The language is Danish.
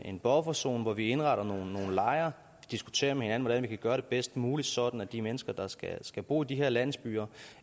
en bufferzone hvor vi indretter nogle lejre og diskuterer med hinanden hvordan vi kan gøre det bedst muligt sådan at de mennesker der skal skal bo i de her landsbyer